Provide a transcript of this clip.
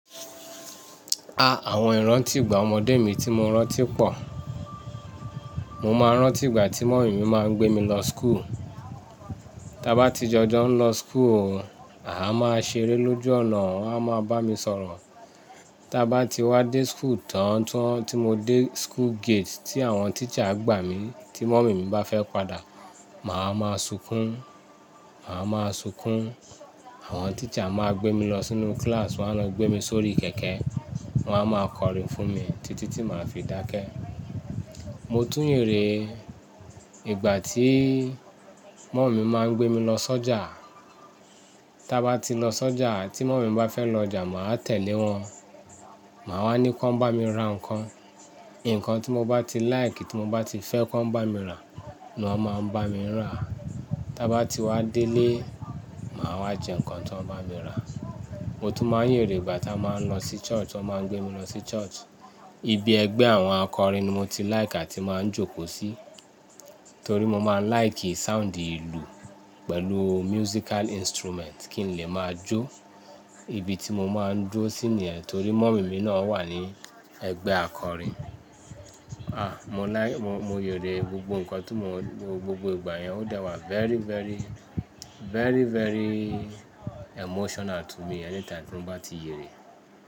Àwọn ìrántí ìgbà ọmọdé mi tí mo rántí pọ̀. Mo máa ń rántí ìgbà tí mummy mi máa ń gbé mi lọ school. Tí a bá ti jọjọ ń lọ school won, àá máa ṣeré lójú ọ̀nà, won a máa bá mi sọ̀rọ̀. Tí a bá ti wá dé school tán tí mo dé school gate tí àwọn teacher gbà mí, tí mummy mi bá fẹ́ padà, màá máa sunkún, màá máa sunkún. Àwọn teacher máa gbé mi lọ sínú class, wọ́n á máa gbé mi sórí kẹ̀kẹ́, wọ́n á máa kọrin fún mi títí tí màá fi dákẹ́. Mo tún yere, ìgbà tí mummy mi máa ń gbé mi lọ sọ́jà. Ti a bá ti lo sọja, ti mummy mi bá fe lo ọjà, máa tẹ̀lé won máa wa ni kí won bá mu ra ǹkan ǹkan tí mo bá ti like, tí mo bá ti fẹ́ kí wọ́n bá mi ràá, ni wọ́n máa ń bá mi rà. Tí a bá ti wá délé, màá wá jẹ ǹkan tí wọ́n bá mi rà. Mo tún máa ń yèrè ìgbà tí a máa ń lọ sí church, ti wọ́n máa ń gbé mi lọ sí church. Ibi ẹgbẹ́ àwọn akọ̀rin ni mo ti like àti máa ń jókòó sí. Torí mo máa ń like sound ìlú pẹ̀lú musical instrument kí n le máa jo. Ibi tí mo máa ń dúró sí ni yẹn torí mummy mi náà wà ní ẹgbẹ́ akọrin. Ah, mo like, mo, mo yèrè gbogbo nǹkan tí mo, gbogbo ìgbà yẹn ó dá wá very, very, very, very emotional to me anytime tí mo bá ti yèrè.